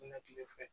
Na kile fɛ